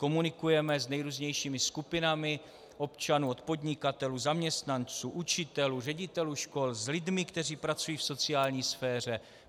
Komunikujeme se nejrůznějšími skupinami občanů od podnikatelů, zaměstnanců, učitelů, ředitelů škol, s lidmi, kteří pracují v sociální sféře.